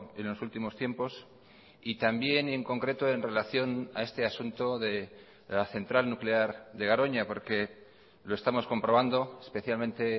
en los últimos tiempos y también en concreto en relación a este asunto de la central nuclear de garoña porque lo estamos comprobando especialmente